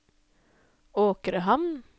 Åkrehamn